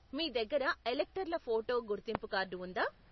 మీ దగ్గర ఎలక్టర్ల ఫోటో గుర్తింపు కార్డు ఉందా?